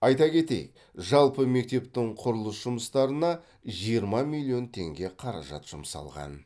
айта кетейік жалпы мектептің құрылыс жұмыстарына жиырма миллион теңге қаражат жұмсалған